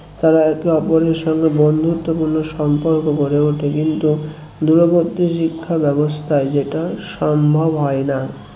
তারা একে ওপরের সঙ্গে বন্ধুত্ব পূর্ণ সম্পর্ক গড়ে ওঠে কিন্তু দূরবর্তী শিক্ষা ব্যবস্থায় সেটা সম্ভব হয় না